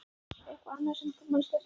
Eitthvað annað sem þú manst eftir?